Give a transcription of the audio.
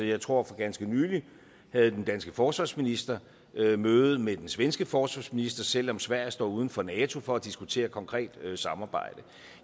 jeg tror at for ganske nylig havde den danske forsvarsminister et møde med den svenske forsvarsminister selv om sverige står uden for nato for at diskutere konkret samarbejde